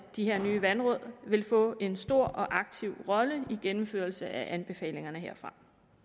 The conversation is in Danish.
de her nye vandråd vil få en stor og aktiv rolle i gennemførelsen af anbefalingerne herfra